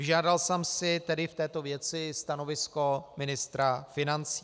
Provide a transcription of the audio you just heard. Vyžádal jsem si tedy v této věci stanovisko ministra financí.